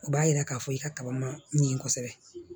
O b'a yira k'a fɔ i ka kaba ma ɲin kosɛbɛ